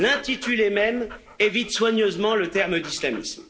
L'intitulé même évite soigneusement le terme d'islamisme.